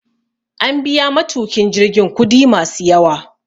An biya matukin jirgin kudi masu yawa